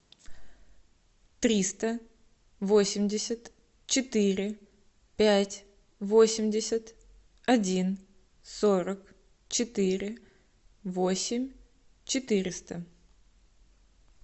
триста восемьдесят четыре пять восемьдесят один сорок четыре восемь четыреста